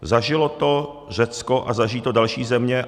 Zažilo to Řecko a zažijí to další země.